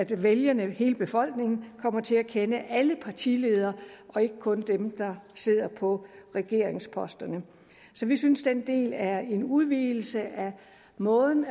vælgerne hele befolkningen kommer til at kende alle partiledere og ikke kun dem der sidder på regeringsposterne så vi synes den del er en udvidelse af måden